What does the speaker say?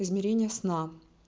измерение сна